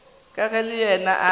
ka ge le yena a